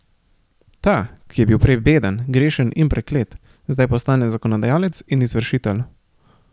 Ta, ki je bil prej beden, grešen in preklet, zdaj postane zakonodajalec in izvršitelj.